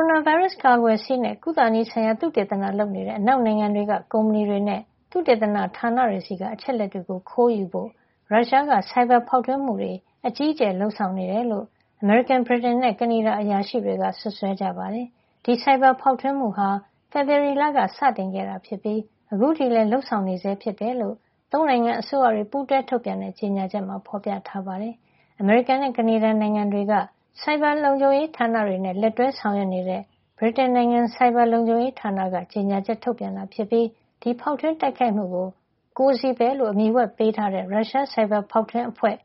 ရိုနာဗိုင်းရပ်စ်ကာကွယ်ဆေးနဲ့ ကုသနည်းဆိုင်ရာ သုတေသနလုပ်နေတဲ့ အနောက်နိုင်ငံတွေက ကုမ္ပဏီတွေနဲ့ သုတေသနဌာနတွေဆီက အချက်အလက်တွေကို ခိုးယူဖို့ ရုရှားက ဆိုင်ဘာဖောက်ထွင်းမှုတွေ အကြီးအကျယ် လုပ်ဆောင်နေတယ်လို့ အမေရိကန်၊ ဗြိတိန်နဲ့ ကနေဒါ အရာရှိတွေက စွပ်စွဲကြပါတယ်။ ဒီ ဆိုင်ဘာဖေါက်ထွင်းမှုဟာ ဖေဖေါ်ဝါရီလက စတင်ခဲ့တာ ဖြစ်ပြီး အခုထိလည်း လုပ်ဆောင်နေဆဲ ဖြစ်တယ်လို့ ၃ နိုင်ငံအစိုးရတွေ ပူးတွဲထုတ်ပြန်တဲ့ ကြေညာချက်မှာ ဖေါ်ပြထားပါတယ်။ အမေရိကန်နဲ့ ကနေဒါ နိုင်ငံတွေက ဆိုင်ဘာလုံခြုံရေးဌာနတွေနဲ့ လက်တွဲ ဆောင်ရွက်နေတဲ့ ဗြိတိန်နိုင်ငံရဲ့ ဆိုင်ဘာလုံခြုံရေးဌာနက ကြေညာချက် ထုတ်ပြန်ခဲ့တာ ဖြစ်ပြီး ဒီဖောက်ထွင်းတိုက်ခိုက်မှုကို Cozy Bear လို့အမည်ဝှက်ပေးထားတဲ့ ရုရှား ဆိုင်ဘာဖေါက်ထွင်းအဖွဲ့